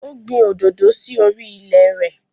O gbin òdòdó sí orí i ilẹ̀ rẹ̀